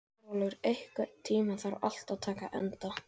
Stórólfur, einhvern tímann þarf allt að taka enda.